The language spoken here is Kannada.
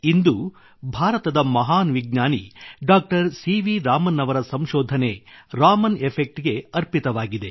ಇಂದು ಭಾರತದ ಮಹಾನ್ ವಿಜ್ಞಾನಿ ಡಾ ಸಿ ವಿ ರಾಮನ್ ಅವರ ಸಂಶೋಧನೆ ರಾಮನ್ ಎಫೆಕ್ಟ್ ಗೆ ಅರ್ಪಿತವಾಗಿದೆ